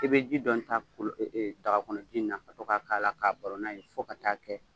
I bɛ ji dɔɔni ta daga kɔnɔ ji in na ka to k'a la, k'a baron n'a ye fo ka t'a kɛ